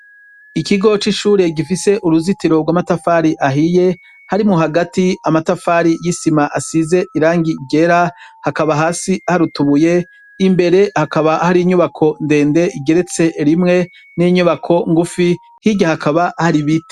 Ikigo c'ishure gifise uruzitiro rw'amatafari ahiye hari mu hagati amatafari y'isima asize irangi igera hakaba hasi harutubuye imbere hakaba hari inyubako ndende igeretse rimwe n'inyubako ngufi hirya hakaba hari ibite.